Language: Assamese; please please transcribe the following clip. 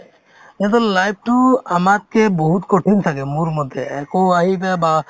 ইহঁতৰ life তো আমাতকে বহুত কঠিন ছাগে মোৰমতে একো আহি বে বা